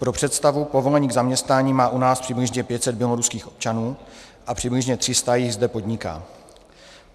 Pro představu, povolení k zaměstnání má u nás přibližně 500 běloruských občanů a přibližně 300 jich zde podniká.